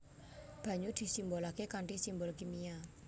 Banyu disimbolaké kanthi simbol kimia